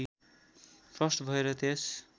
first भएर त्यस